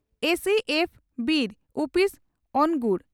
ᱮᱹᱥᱤᱹᱮᱯᱷᱹ ᱵᱤᱨ ᱩᱯᱤᱥ ᱚᱱᱜᱩᱲ